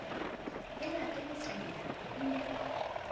e late latailana e ne